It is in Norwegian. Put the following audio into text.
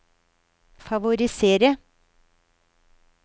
favorisere